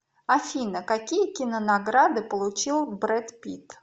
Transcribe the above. афина какие кинонаграды получил брэд питт